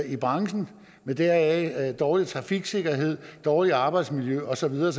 i branchen med deraf følgende dårlig trafiksikkerhed dårligt arbejdsmiljø og så videre